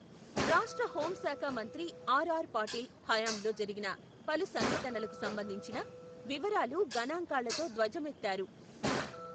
రాష్ట్ర హోం శాఖ మంత్రి ఆర్.ఆర్.పాటిల్ హయాంలో జరిగిన పలు సంఘటనలకు సంబంధించిన, వివరాలు గణాంకాలతో ధ్వజమెత్తారు.